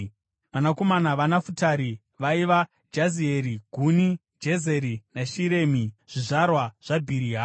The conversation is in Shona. Vanakomana vaNafutari vaiva: Jazieri, Guni, Jezeri naShiremi, zvizvarwa zvaBhiriha.